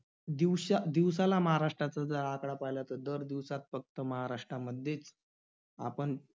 दिवशा~ दिवसाला महाराष्ट्राचं जर आकडा पहिला तर दर दिवसात फक्त महाराष्ट्रामध्येच आपण